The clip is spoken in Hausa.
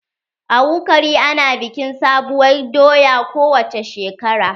A wukari ana bikin sabuwar doya kowacce shekara.